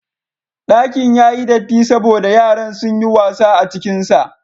Ɗakin ya yi datti saboda yaran sun yi wasa a cikinsa.